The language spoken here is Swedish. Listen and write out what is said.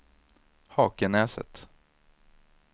Hakenäset